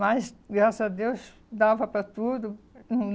Mas, graças a Deus, dava para tudo, hum.